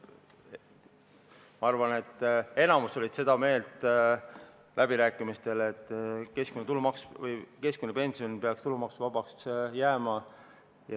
Ma arvan, et enamik oli läbirääkimistel seda meelt, et keskmine pension peaks jääma tulumaksuvabaks.